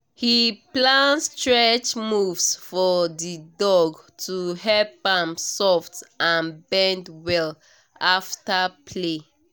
he plan stretch moves for the dog to help am soft and bend well after play